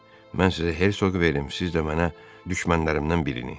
Mən sizə Hersoqu verim, siz də mənə düşmənlərimdən birini.